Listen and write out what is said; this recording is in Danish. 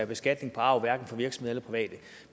beskatning på arv hverken for virksomheder